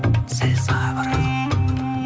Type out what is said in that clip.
сәл сабыр